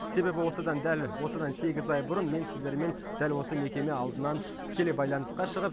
себебі осыдан дәл осыдан сегіз ай бұрын мен сіздермен дәл осы мекеме алдынан тікелей байланысқа шығып